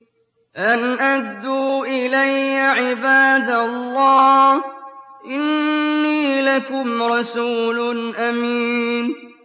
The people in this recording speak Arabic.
أَنْ أَدُّوا إِلَيَّ عِبَادَ اللَّهِ ۖ إِنِّي لَكُمْ رَسُولٌ أَمِينٌ